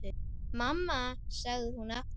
Mamma, sagði hún aftur.